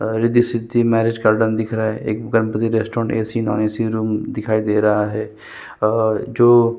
और रिद्धि सिद्धि मैरिज का डम्ब दिख रहा है एक Ganpati restaurant A. C. Non A. C. Room दिखाई दे रहा है और जो --